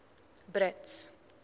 brits